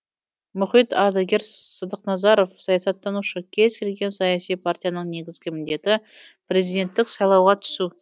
мұхит ардагер сссыдықназаров саясаттанушы кез келген саяси партияның негізгі міндеті президенттік сайлауға түсу